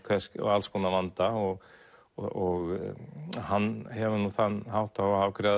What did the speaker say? alls konar vanda og og hann hefur nú þann hátt á að afgreiða